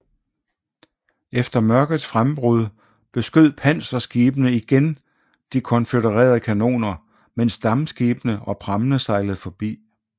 Efter mørkets frembrud beskød panserskibene igen de konfødererede kanoner mens dampskibene og prammene sejlede forbi